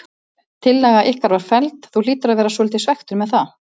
Tillaga ykkar var felld, þú hlýtur að vera svolítið svekktur með það?